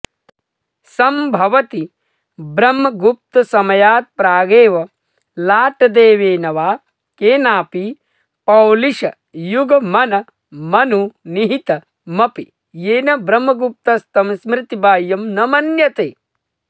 सम्भवति ब्रह्मगुप्तसमयात्प्रागेव लाटदेवेन वा केनापि पौलिश युगमनमनुनिहितमपि येन ब्रह्मगुप्तस्तं स्मृतिबाह्यं न मन्यते